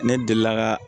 Ne delila ka